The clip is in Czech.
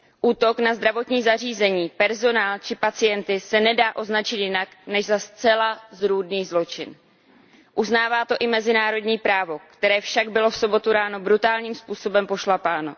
Útok na zdravotní zařízení, personál či pacienty se nedá označit jinak než za zcela zrůdný zločin. Uznává to i mezinárodní právo, které však bylo v sobotu ráno brutálním způsobem pošlapáno.